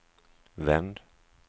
vänd